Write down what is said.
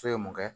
So ye mun kɛ